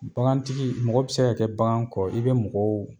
Bakan tigi mɔgɔ be se ka kɛ bakan kɔ, i be mɔgɔw